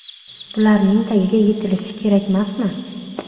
Bularning tagiga yetilishi kerakmasmi?